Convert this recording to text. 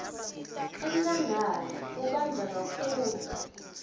enkhangala kubandza kakhulu